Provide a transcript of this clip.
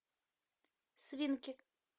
свинки